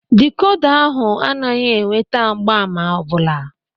Dịkoda ahụ anaghị enweta mgbaàmà ọbụla.